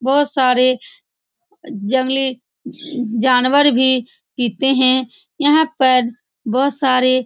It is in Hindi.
बहुत सारे जंगली उँ जानवर भी पीते है यहाँ पर बहुत सारे --